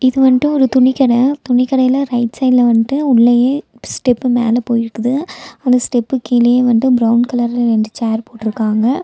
இது வண்டு ஒரு துணிக்கட துணிக்கடையில ரைட் சைட்ல வண்டு உள்ளெயே ஸ்டெப்பு மேல போயிருக்குது அந்த ஸ்டெப் கீழயே வண்டு பிரவுன் கலர்ல ரெண்டு சேர் போட்ருக்காங்க.